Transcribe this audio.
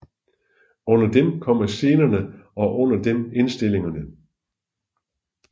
Under dem kommer scenerne og under dem indstillingerne